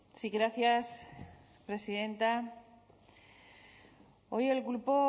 sí gracias presidenta hoy el grupo